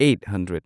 eight hundred